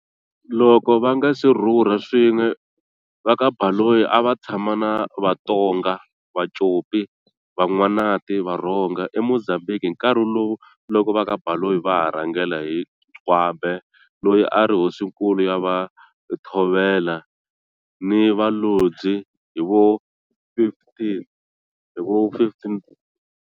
Loko va nga se rhurha swin'we, va ka Baloyi a va tshama na vaTonga, Vacopi, Van'wanati, Varhonga, e Mozambique hi nkarhi lowu loko va ka Baloyi va ha rhangela hi Gwambe loyi a ri hosinkulu ya va Thovela ni Valozyi hi vo 1500.